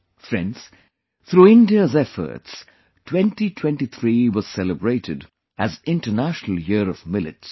Friends, through India's efforts, 2023 was celebrated as International Year of Millets